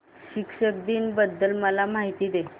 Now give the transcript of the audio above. शिक्षक दिन बद्दल मला माहिती दे